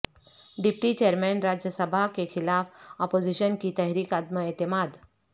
deputy chairman Rajya Sabha کیخلاف opposition کی تحریک عدم اعتماد